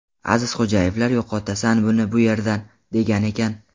Azizxo‘jayevlar ‘yo‘qotasan buni bu yerdan’, degan ekan.